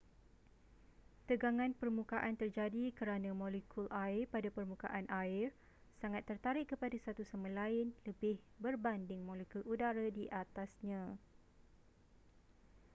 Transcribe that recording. tegangan permukaan terjadi kerana molekul air pada permukaan air sangat tertarik kepada satu sama lain lebih berbanding molekul udara di atasnya